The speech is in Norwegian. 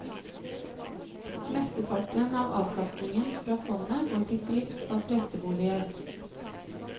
Mesteparten av avkastningen fra fondet går til drift av presteboliger.